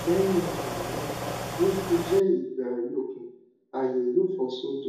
lẹyìn um náà bi o ṣe jẹ ìgbà àyọkù ààyè yóò fọ sódò